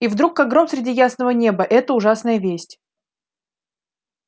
и вдруг как гром среди ясного неба эта ужасная весть